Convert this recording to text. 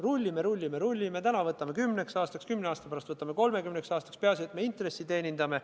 Rullime, rullime, rullime, täna võtame kümneks aastaks, kümne aasta pärast võtame 30 aastaks, peaasi, et me intressi teenindame.